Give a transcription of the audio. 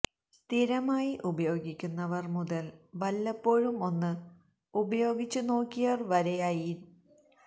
സ്ഥിരമായി ഉപയോഗിക്കുന്നവർ മുതൽ വല്ലപ്പോഴും ഒന്ന് ഉപയോഗിച്ചു നോക്കിയവർ വരെയായി ഏത